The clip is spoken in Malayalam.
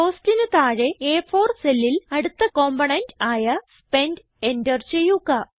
COSTന് താഴെ അ4 സെല്ലിൽ അടുത്ത കമ്പോണന്റ് ആയ സ്പെന്റ് എന്റർ ചെയ്യുക